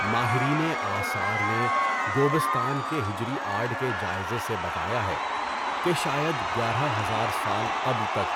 ماہرینِ آثار نے گوبستان کے حجری آرٹ کے جائزے سے بتایا ہے کہ شاید گیارہ ہزار سال قبل تک